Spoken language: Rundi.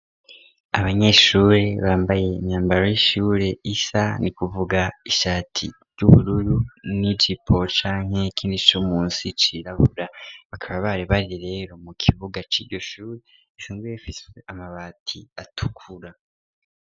Abanyeshure bambaye imyambaro y'ishure isa, ni kuvuga ishati ry'ubururu n'ijipo canke ikindi co musi cirabura, bakaba bari bari rero mu kibuga c'iryo shure, risanzwe rifise amabati atukura.